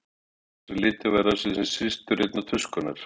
Fannst einsog litið væri á sig sem systur einnar tuskunnar.